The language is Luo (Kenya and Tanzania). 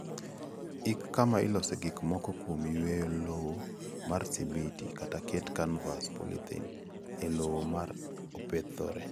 Ik kama ilosee gik moko kuom yweyo lowo mar simiti, kata ket kanvas / polythene e lowo ma opedhore.